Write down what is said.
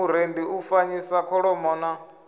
murendi u fanyisa kholomo na